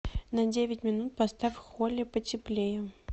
на девять минут поставь в холле потеплее